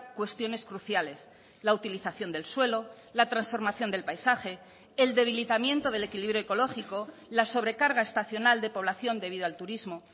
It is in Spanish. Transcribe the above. cuestiones cruciales la utilización del suelo la transformación del paisaje el debilitamiento del equilibrio ecológico la sobrecarga estacional de población debido al turismo